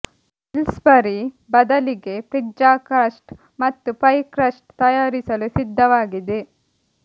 Pillsbury ಬದಲಿಗೆ pizza crust ಮತ್ತು pie crust ತಯಾರಿಸಲು ಸಿದ್ಧವಾಗಿದೆ